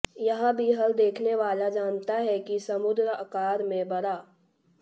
यह भी हर देखने वाला जानता है कि समुद्र आकार में बड़ा